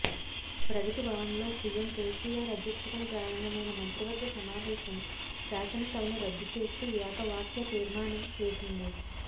ప్రగతి భవన్లో సీఎం కేసీఆర్ అధ్యక్షతన ప్రారంభమైన మంత్రివర్గ సమావేశం శాసనసభను రద్దు చేస్తూ ఏకవాక్య తీర్మానం చేసింది